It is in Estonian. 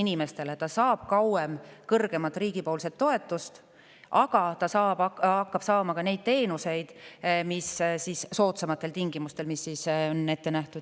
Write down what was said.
Ta saab riigilt kauem kõrgemat toetust, aga ta hakkab saama soodsamatel tingimustel ka neid teenuseid, mis siis on ette nähtud.